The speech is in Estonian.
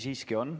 Siiski on.